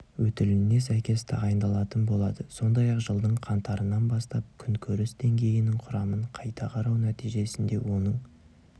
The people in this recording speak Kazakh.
өтіліне сәйкес тағайындалатын болады сондай-ақ жылдың қаңтарынан бастап күнкөріс деңгейінің құрамын қайта қарау нәтижесінде оның